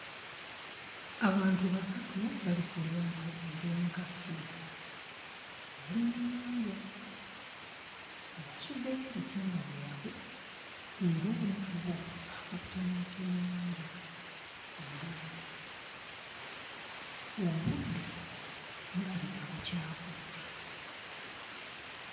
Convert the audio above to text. Abantu basatu bali ku lyato ery'enkasi, bali mu nnyanja nga basuddeyo ebitimba byabwe era omu ku bo akutte n'ekyennyanja ku ddobo, obudde bulabika bukyakutte.